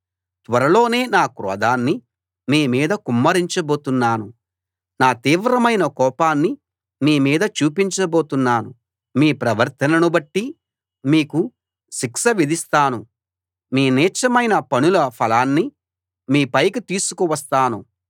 త్వరలోనే నా క్రోధాన్ని మీమీద కుమ్మరించబోతున్నాను నా తీవ్రమైన కోపాన్ని మీమీద చూపించ బోతున్నాను మీ ప్రవర్తనను బట్టి మీకు శిక్ష విధిస్తాను మీ నీచమైన పనుల ఫలాన్ని మీ పైకి తీసుకు వస్తాను